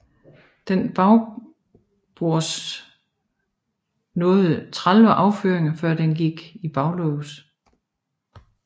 Den bagbords nåede 30 affyringer før den også gik i baglås